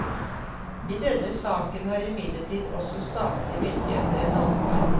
I denne saken har imidlertid også statlige myndigheter et ansvar.